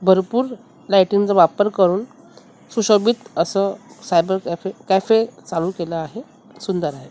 भरपूर लाइटिंग चा वापर करून सुशोभित असं सायबर कॅफे कॅफे चालू केलं आहे सुंदर आहे.